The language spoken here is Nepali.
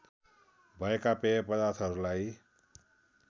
भएका पेय पदार्थहरूलाई